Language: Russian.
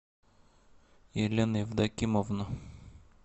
елена евдокимовна